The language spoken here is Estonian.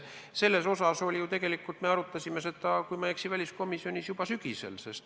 Seda teemat me tegelikult arutasime, kui ma ei eksi, väliskomisjonis juba sügisel.